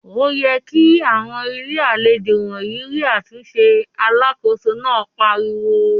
"Ó yẹ kí àwọn Ilé-àlejò wọ̀nyí rí àtúnṣe!" Alákòóso náà pariwo.